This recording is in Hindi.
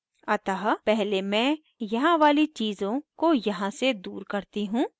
अतः पहले मैं यहाँ वाली चीज़ों को यहाँ से दूर करती हूँ